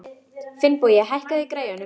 Finnbogi, hækkaðu í græjunum.